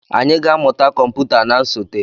Anyị ga-amụta kọmputa na nsote.